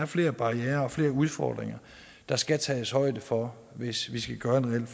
flere barrierer og flere udfordringer der skal tages højde for hvis vi skal gøre en